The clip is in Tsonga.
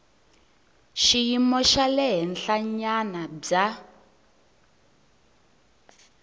xiyimo xa le henhlanyana bya